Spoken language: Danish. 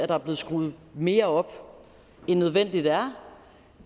der er blevet skruet mere op end nødvendigt er